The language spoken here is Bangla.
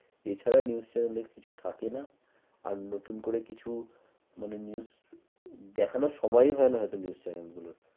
এছাড়া news channel এ কিছু থাকেনা আর নতুন করে কিছু মানে news দেখানোর সময় হয় না হয়তো news channel গুলোর